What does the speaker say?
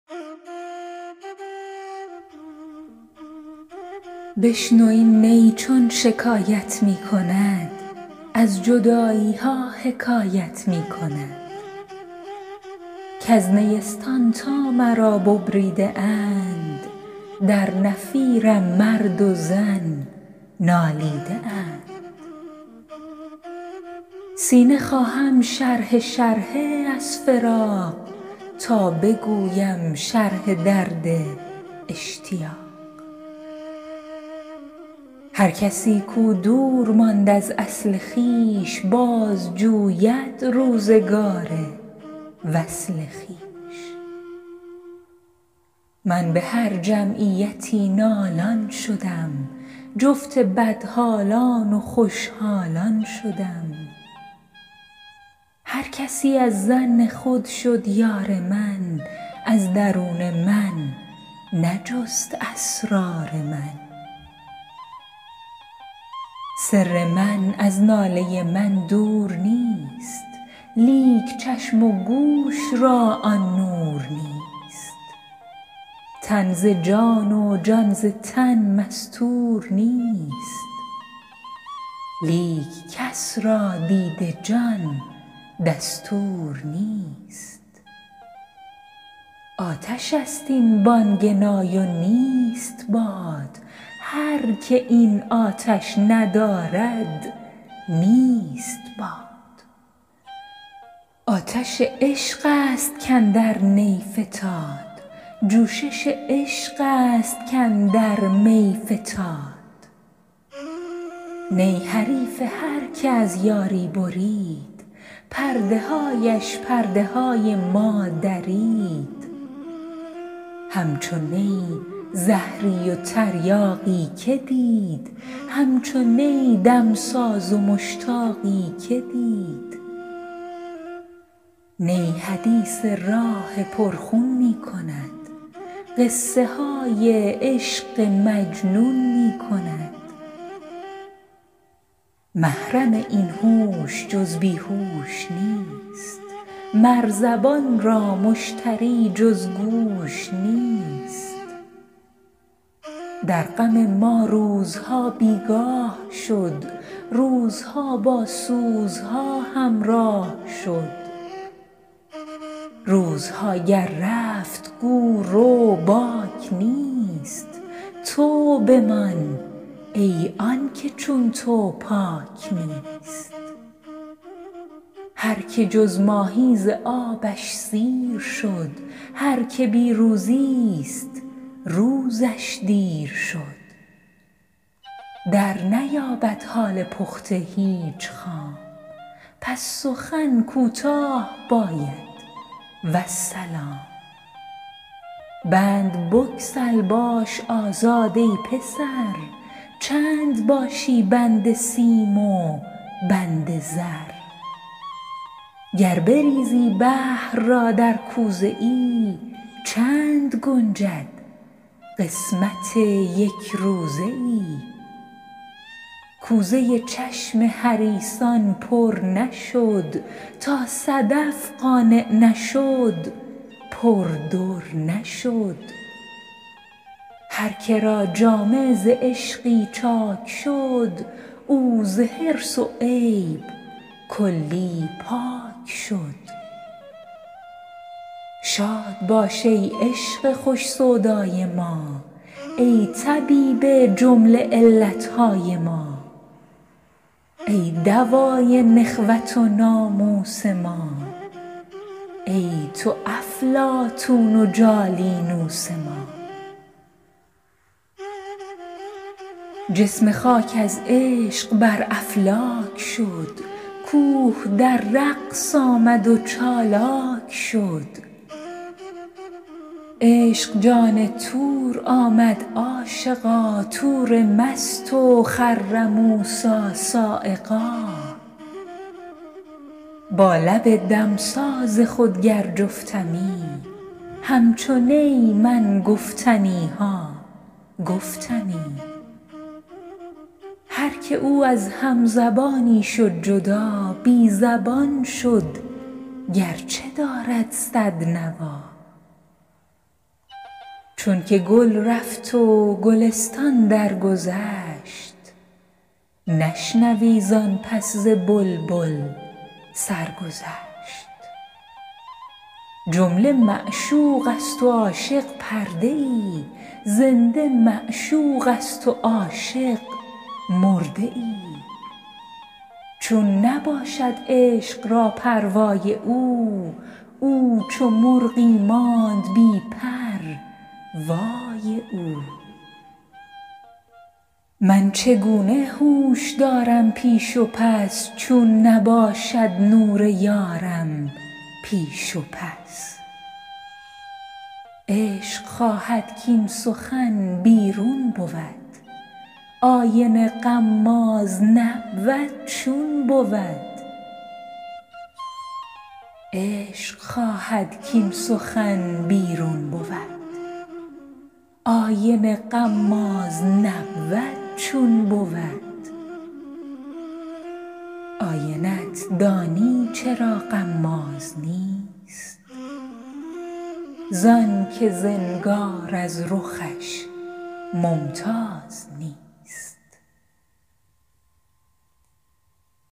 بشنو این نی چون شکایت می کند از جدایی ها حکایت می کند کز نیستان تا مرا ببریده اند در نفیرم مرد و زن نالیده اند سینه خواهم شرحه شرحه از فراق تا بگویم شرح درد اشتیاق هر کسی کو دور ماند از اصل خویش باز جوید روزگار وصل خویش من به هر جمعیتی نالان شدم جفت بدحالان و خوش حالان شدم هر کسی از ظن خود شد یار من از درون من نجست اسرار من سر من از ناله من دور نیست لیک چشم و گوش را آن نور نیست تن ز جان و جان ز تن مستور نیست لیک کس را دید جان دستور نیست آتش است این بانگ نای و نیست باد هر که این آتش ندارد نیست باد آتش عشق است کاندر نی فتاد جوشش عشق است کاندر می فتاد نی حریف هر که از یاری برید پرده هایش پرده های ما درید همچو نی زهری و تریاقی که دید همچو نی دمساز و مشتاقی که دید نی حدیث راه پر خون می کند قصه های عشق مجنون می کند محرم این هوش جز بی هوش نیست مر زبان را مشتری جز گوش نیست در غم ما روزها بیگاه شد روزها با سوزها همراه شد روزها گر رفت گو رو باک نیست تو بمان ای آنکه چون تو پاک نیست هر که جز ماهی ز آبش سیر شد هر که بی روزی ست روزش دیر شد در نیابد حال پخته هیچ خام پس سخن کوتاه باید والسلام بند بگسل باش آزاد ای پسر چند باشی بند سیم و بند زر گر بریزی بحر را در کوزه ای چند گنجد قسمت یک روزه ای کوزه چشم حریصان پر نشد تا صدف قانع نشد پر در نشد هر که را جامه ز عشقی چاک شد او ز حرص و عیب کلی پاک شد شاد باش ای عشق خوش سودای ما ای طبیب جمله علت های ما ای دوای نخوت و ناموس ما ای تو افلاطون و جالینوس ما جسم خاک از عشق بر افلاک شد کوه در رقص آمد و چالاک شد عشق جان طور آمد عاشقا طور مست و خر موسیٰ‏ صعقا با لب دمساز خود گر جفتمی همچو نی من گفتنی ها گفتمی هر که او از هم زبانی شد جدا بی زبان شد گر چه دارد صد نوا چون که گل رفت و گلستان درگذشت نشنوی زآن پس ز بلبل سرگذشت جمله معشوق است و عاشق پرده ای زنده معشوق است و عاشق مرده ای چون نباشد عشق را پروای او او چو مرغی ماند بی پر وای او من چگونه هوش دارم پیش و پس چون نباشد نور یارم پیش و پس عشق خواهد کاین سخن بیرون بود آینه غماز نبود چون بود آینه ت دانی چرا غماز نیست زآن که زنگار از رخش ممتاز نیست